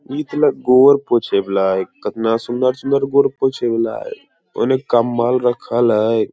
इतना गोबर पोछे बला ए किन्ना सुन्दर-सुन्दर गोर पोछेव ला ए उनने कम्बल रख ला .